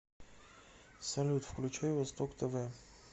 салют включай восток тв